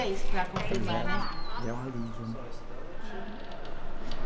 Então, já já é um alívio, né?